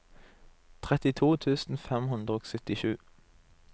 trettito tusen fem hundre og syttisju